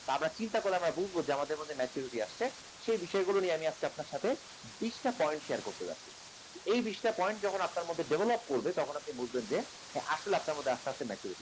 তা আমার চিন্তা করলে বুঝবো যে আমাদের মধ্যে maturity আসছে। সে বিষয় গুলো নিয়ে আজকে আপনার সাথে বিস টা point share করতে যাচ্ছি । এই বিস টা point যখন আপনার মধ্যে develop করবে তখন আপনি বুঝবেন যে আসলে আপনার মধ্যে আস্তে আস্তে maturity আসছে।